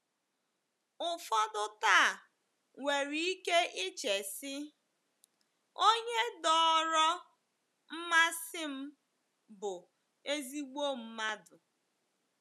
Ụfọdụ taa nwere ike iche si, Onye dọọrọ mmasị m bụ ezIgbo mmadụ.